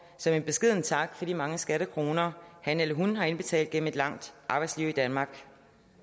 som en beskeden tak for de mange skattekroner han eller hun har indbetalt gennem et langt arbejdsliv i danmark